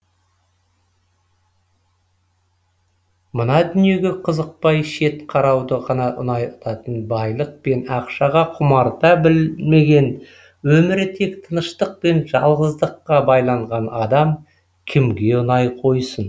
мына дүниеге қызықпай шет қарауды ғана ұнататын байлық пен ақшаға құмарта білмеген өмірі тек тыныштық пен жалғыздыққа байланған адам кімге ұнай қойсын